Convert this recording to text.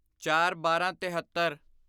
ਚਾਰਬਾਰਾਂਤੇਹਤਰ